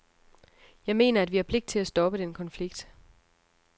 Jeg mener, at vi har pligt til at stoppe den konflikt.